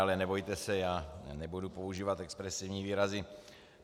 Ale nebojte se, já nebudu používat expresivní výrazy.